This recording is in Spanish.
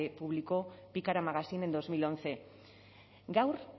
público pikara magazine en dos mil once gaur